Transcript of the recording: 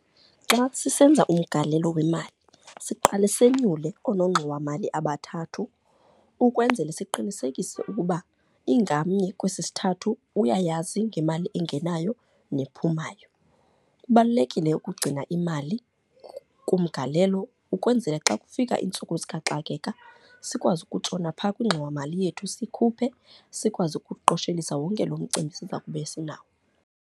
Xa sisenza umgalelo wemali siqale sonyule oonongxowamali abathathu, ukwenzele siqinisekise ukuba ingamnye kwesi sithathu uyayazi ngemali engenayo nephumayo. Kubalulekile ukugcina imali kumgalelo ukwenzele xa kufika iintsuku zikaxakeka sikwazi ukutshona phaa kwingxowamali yethu sikhuphe, sikwazi ukuqoshelisa wonke loo mcimbi siza kube sinawo.